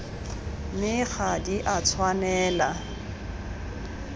mme ga di a tshwanela